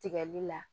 Tigɛli la